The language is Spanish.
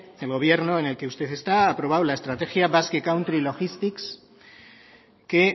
el gobierno en el que usted está ha aprobado al estrategia basque country logistics que